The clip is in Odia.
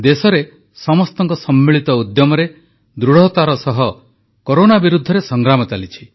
ଦେଶରେ ସମସ୍ତଙ୍କ ସମ୍ମିଳିତ ଉଦ୍ୟମରେ ଦୃଢ଼ତାର ସହ କରୋନା ବିରୁଦ୍ଧରେ ସଂଗ୍ରାମ ଚାଲିଛି